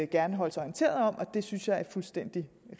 gerne holdes orienteret om og det synes jeg er en fuldstændig